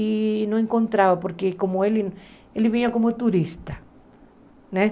E não encontrava, porque como ele ele vinha como turista, né?